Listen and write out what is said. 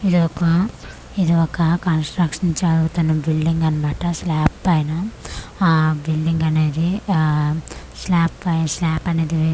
ఇది ఒక ఇది ఒక కంస్ట్రక్షన్ జరుగుతున్న బిల్డింగ్ అనమాట స్లాబ్ పైన ఆ బిల్డింగ్ అనేది ఆఆ స్లాబ్ పైన స్లాబ్ అనేది వేస్తున్నా'--'